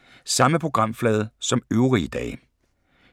Samme programflade som øvrige dage